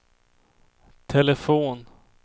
telefon